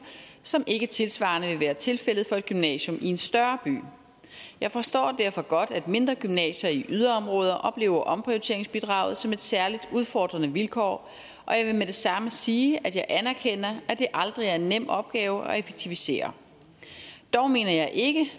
som ikke tilsvarende vil være tilfældet for et gymnasium i en større by jeg forstår derfor godt at mindre gymnasier i yderområder oplever omprioriteringsbidraget som et særlig udfordrende vilkår og jeg vil med det samme sige at jeg anerkender at det aldrig er en nem opgave at effektivisere dog mener jeg ikke